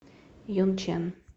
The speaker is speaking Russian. юнчэн